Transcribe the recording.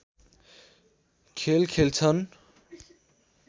खेल खेल्छन्